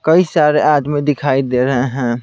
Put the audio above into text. कई सारे आदमी दिखाई दे रहे हैं।